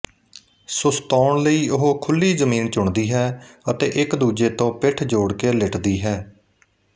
ਸੁਸਤਾਉਣ ਲਈ ਉਹ ਖੁੱਲੀ ਜ਼ਮੀਨ ਚੁਣਦੀ ਹੈ ਅਤੇ ਇੱਕਦੂਜੇ ਤੋਂ ਪਿੱਠ ਜੋੜ ਕੇ ਲਿਟਦੀ ਹੈ